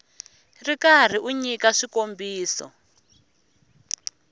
ri karhi u nyika swikombiso